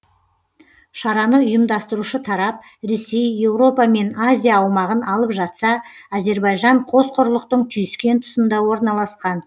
шараны ұйымдастырушы тарап ресей еуропа мен азия аумағын алып жатса әзербайжан қос құрлықтың түйіскен тұсында орналасқан